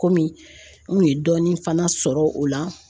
Kɔmi n kun ye dɔɔni fana sɔrɔ o la